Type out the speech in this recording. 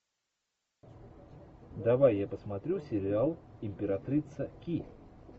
давай я посмотрю сериал императрица ки